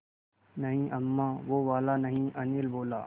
नहीं अम्मा वो वाला नहीं अनिल बोला